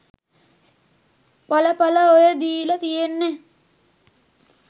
එල එල ඔය දීල තියෙන්නේ